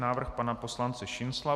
Návrh pana poslance Šincla.